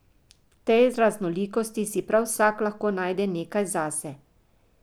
V tej raznolikosti si prav vsak lahko najde nekaj zase.